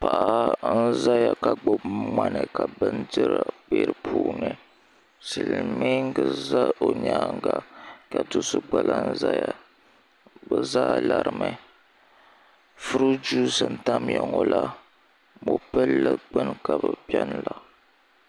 paɣa n-zaya ka gbubi ŋmani ka bindira be di puuni silimiiŋga za o nyaaŋga ka do' so gba lahi zaya bɛ zaa larimi furuuti juusi n-tamya ŋɔ la mɔpilli gbuni ka bɛ beni la